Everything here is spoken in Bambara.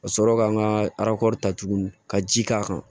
Ka sɔrɔ ka n ka ta tuguni ka ji k'a kan